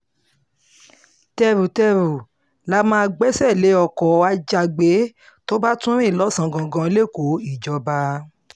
tẹ́rù-tẹ́rù la máa gbẹ́sẹ̀ lé ọkọ̀ ajàgbẹ́ tó bá tún rìn lọ́sàn-án gangan lẹ́kọ̀ọ́ ìjọba